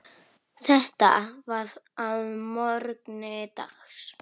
Þetta var að morgni dags.